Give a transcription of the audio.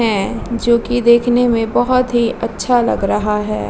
हैं जो की देखने में बहोत ही अच्छा लग रहा है।